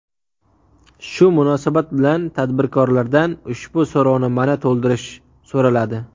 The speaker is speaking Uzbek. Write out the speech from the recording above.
Shu munosabat bilan tadbirkorlardan ushbu so‘rovnomani to‘ldirish so‘raladi.